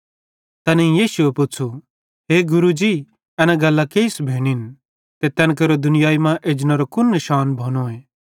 तैनेईं यीशुए पुच़्छ़ू हे गुरू जी एन गल्लां केइस भोनिन ते तैन केरो दुनियाई मां एजनेरो कुन निशान भोनोए